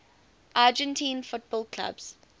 argentine football clubs